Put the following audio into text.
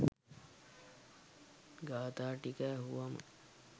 ගාථා ටික ඇහුවම